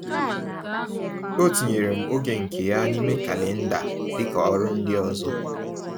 O tinyere m oge nke ya n’ime kalenda dịka ọrụ ndị ọzọ.